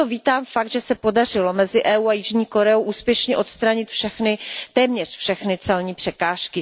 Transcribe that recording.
Proto vítám fakt, že se podařilo mezi EU a Jižní Koreou úspěšně odstranit téměř všechny celní překážky.